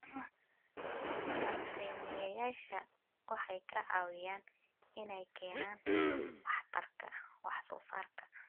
Bacrimiyeyaasha waxay ka caawiyaan inay keenaan waxtarka wax soo saarka.